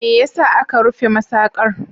Me ya sa aka rufe masaƙar?